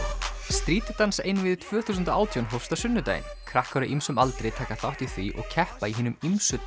Street dans einvígið tvö þúsund og átján hófst á sunnudaginn krakkar á ýmsum aldri taka þátt í því og keppa í hinum ýmsu